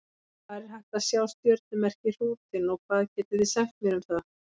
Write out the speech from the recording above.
Hvar er hægt að sjá stjörnumerkið Hrútinn og hvað getið þið sagt mér um það?